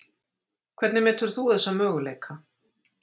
Hvernig metur þú þessa möguleika?